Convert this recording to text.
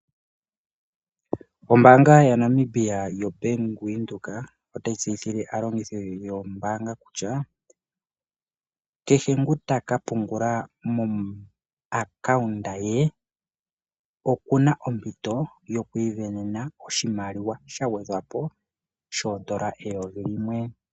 Ombanga ya Namibia yo Bank Widheok otayi tseyithile alongithi yoombanga kutya kehe ngu takapungula komapungulilo gombanga nge okuna ompito yokwivenena oshimaliwa shangwedhwapo shondola 1000,00.